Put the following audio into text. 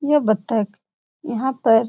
यह बत्तख यहाँ पर --